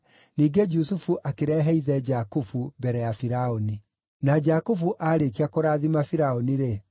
Ningĩ Jusufu akĩrehe ithe Jakubu mbere ya Firaũni. Na Jakubu aarĩkia kũrathima Firaũni-rĩ,